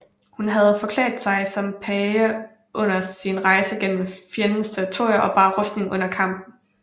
Hun havde forklædt sig som page under sin rejse gennem fjendens territorium og bar rustning under kamp